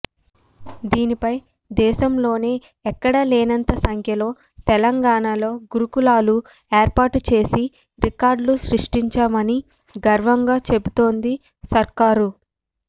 దీనిపై దేశంలోనే ఎక్కడా లేనంత సంఖ్యలో తెలంగాణలో గురుకులాలు ఏర్పాటు చేసి రికార్డులు సృష్టించామని గర్వంగా చెబుతోంది సర్కారు